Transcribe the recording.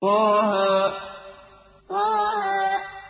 طه طه